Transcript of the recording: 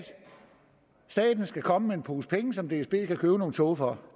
staten skal komme med en pose penge som dsb kan købe nogle tog for